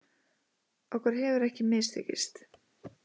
Okkur hefur ekki mistekist